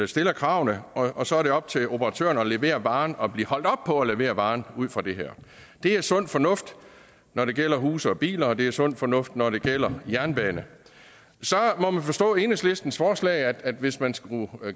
stiller kravene og så er det op til operatøren at levere varen og blive holdt op på at levere varen ud fra det det er sund fornuft når det gælder huse og biler og det er sund fornuft når det gælder jernbane så må man forstå enhedslistens forslag at hvis man skulle